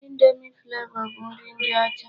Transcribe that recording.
Indomi Flavọ bụ nri ndị ọcha.